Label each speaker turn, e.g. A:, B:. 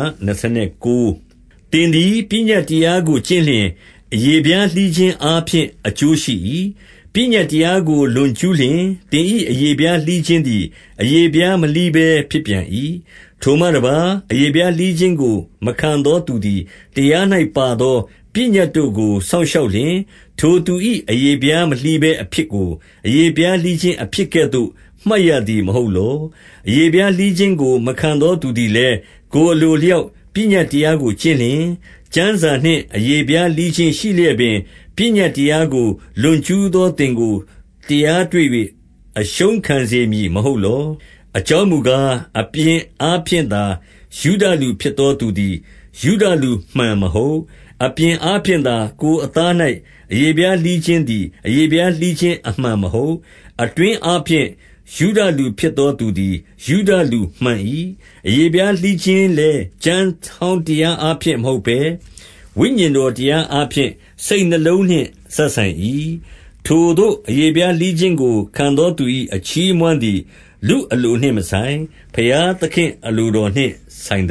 A: ။ သင်သည်ပညတ်တရားကို ကျင့်လျှင်၊ အရေဖျားလှီးခြင်းအားဖြင့် အကျိုးရှိ၏။ ပညတ်တရားကို လွန်ကျူးလျှင်၊ သင်၏အရေဖျားလှီးခြင်းသည် အရေဖျား မလှီးဘဲဖြစ်ပြန်၏။ ထိုမှတပါး၊ အရေဖျားလှီးခြင်းကို မခံသောသူ သည်တရား၌ ပါသောပညတ်တို့ကို စောင့်ရှောက်လျှင်၊ ထိုသူ၏အရေဖျားမလှီးဘဲ အဖြစ်ကို အရေဖျားလှီးခြင်း အဖြစ်ကဲ့သို့ မှတ်ရသည်မဟုတ်လော။ အရေဖျားလှီးခြင်းကို မခံသောသူသည်လည်း ကိုယ်အလိုအလျောက်ပညတ်တရားကို ကျင့်လျှင်၊ ကျမ်းစာနှင့်အရေဖျားလှီးခြင်းရှိလျက်ပင် ပညတ်တရားကို လွန်ကျူးသောသင်ကို တရားတွေ့၍ အရှုံးခံစေမည် မဟုတ်လော။ အကြောင်းမူကား၊ အပြင်အားဖြင့်သာ ယုဒလူဖြစ်သောသူသည် ယုဒလူမှန်မဟုတ်။ အပြင်အားဖြင့်သာ ကိုယ်အသား အရေဖျားလှီးခြင်းသည် အရေဖျားလှီးခြင်း အမှန် မဟုတ်။ အတွင်းအားဖြင့် ယုဒလူဖြစ်သောသူသည် ယုဒလူမှန်၏။ အရေဖျားလှီးခြင်းလည်း ကျမ်းဟောင်း တရားအားဖြင့်မဟုတ်ဘဲ၊ ဝိညာဉ်တော်တရားအားဖြင့် စိတ်နှလုံးနှင့်စပ်ဆိုင်၏။ ထိုသို့အရေးဖျားလှီးခြင်းကို ခံသောသူ၏အချီးအမွမ်းသည် လူအလိုနှင့်မဆိုင်၊ ဘုရားသခင့်အလိုတော်နှင့်ဆိုင်